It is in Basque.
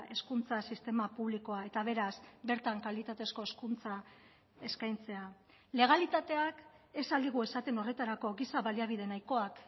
hezkuntza sistema publikoa eta beraz bertan kalitatezko hezkuntza eskaintzea legalitateak ez al digu esaten horretarako giza baliabide nahikoak